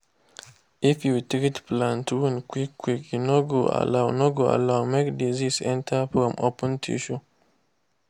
if you treat plant wound quick quick e no go allow no go allow make disease enter from open tissue.